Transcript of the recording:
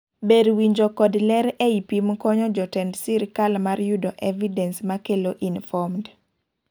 ber winjo kod ler ei pim konyo jotend sirkal mar yudo evidence makelo informed